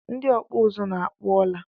Ndị ọkpụ uzu na-akpọ ọla